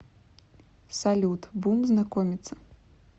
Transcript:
салют бум знакомиться